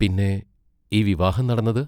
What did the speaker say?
പിന്നെ ഈ വിവാഹം നടന്നത്?